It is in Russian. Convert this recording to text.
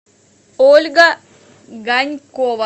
ольга ганькова